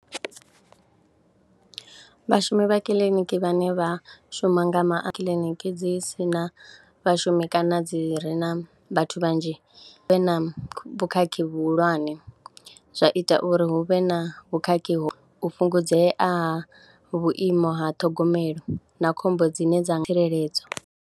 Vhashumi vha kiḽiniki vhane vha shuma nga ma kiḽiniki dzi si na vhashumi kana dzi re na vhathu vhanzhi vhe na vhukhakhi vhuhulwane, zwa ita uri hu vhe na vhukhakhi ho, u fhungudzea ha vhuimo ha ṱhogomelo na khombo dzine dza tsireledzo.